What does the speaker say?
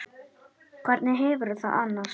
Hvernig hefurðu það annars?